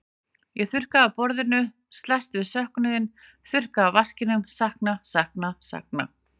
Ég þurrka af borðinu, slæst við söknuðinn, þurrka af vaskinum, sakna, sakna, sakna.